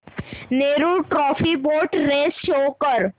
Nehru trophy boat race show कर